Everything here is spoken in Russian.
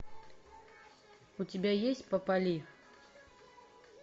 у тебя есть попали